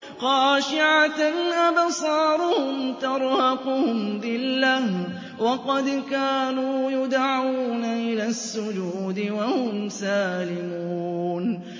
خَاشِعَةً أَبْصَارُهُمْ تَرْهَقُهُمْ ذِلَّةٌ ۖ وَقَدْ كَانُوا يُدْعَوْنَ إِلَى السُّجُودِ وَهُمْ سَالِمُونَ